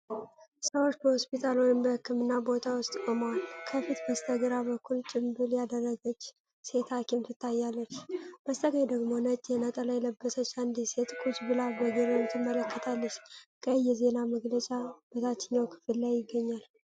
ሰዎች በሆስፒታል ወይም በሕክምና ቦታ ውስጥ ቆመዋል። ከፊት በስተግራ በኩል ጭምብል ያደረገች ሴት ሐኪም ትታያለች። በስተቀኝ ደግሞ ነጭ ነጠላ የለበሰች አንዲት ሴት ቁጭ ብላ በግርምት ትመለከታለች። ቀይ የዜና መግለጫ በታችኛው ክፍል ላይ ይገኛል።